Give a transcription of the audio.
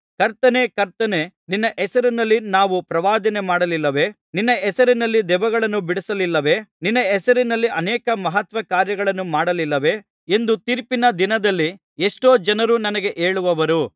ಕರ್ತನೇ ಕರ್ತನೇ ನಿನ್ನ ಹೆಸರಿನಲ್ಲಿ ನಾವು ಪ್ರವಾದನೆ ಮಾಡಲಿಲ್ಲವೇ ನಿನ್ನ ಹೆಸರಿನಲ್ಲಿ ದೆವ್ವಗಳನ್ನು ಬಿಡಿಸಲಿಲ್ಲವೇ ನಿನ್ನ ಹೆಸರಿನಲ್ಲಿ ಅನೇಕ ಮಹತ್ಕಾರ್ಯಗಳನ್ನು ಮಾಡಲಿಲ್ಲವೇ ಎಂದು ತೀರ್ಪಿನ ದಿನದಲ್ಲಿ ಎಷ್ಟೋ ಜನರು ನನಗೆ ಹೇಳುವರು